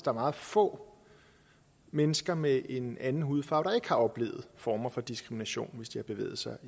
er meget få mennesker med en anden hudfarve der ikke har oplevet former for diskrimination hvis de har bevæget sig